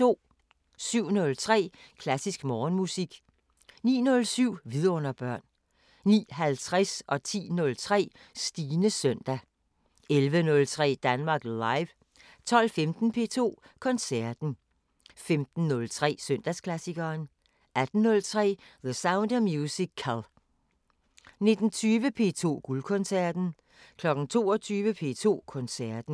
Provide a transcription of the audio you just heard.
07:03: Klassisk Morgenmusik 09:07: Vidunderbørn 09:50: Stines søndag 10:03: Stines søndag 11:03: Danmark Live 12:15: P2 Koncerten 15:03: Søndagsklassikeren 18:03: The Sound of Musical 19:20: P2 Guldkoncerten 22:00: P2 Koncerten